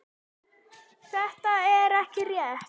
Þetta er ekki rétt.